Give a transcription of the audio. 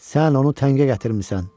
Sən onu təngə gətirmisən,